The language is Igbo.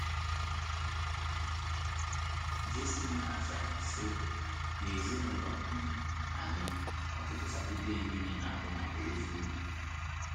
Jayson na - aza, sị: “ N’ezinụlọ um anyị, ụtụtụ Saturday nile na - abụ maka ozi ubi.